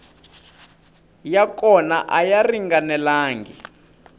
ya kona a ya ringanelangi